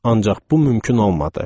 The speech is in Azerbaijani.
Ancaq bu mümkün olmadı.